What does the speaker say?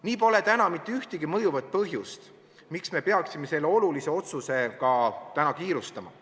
Nii pole täna mitte ühtegi mõjuvat põhjust, miks me peaksime selle olulise otsusega kiirustama.